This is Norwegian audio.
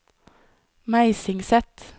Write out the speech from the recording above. Meisingset